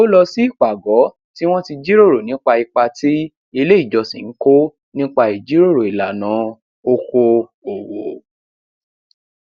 ó lọ sí ìpàgọ tí wọn ti jíròrò nípa ipa tí ilé ìjọsìn ń kó nípa ìjíròrò ìlànà oko òwò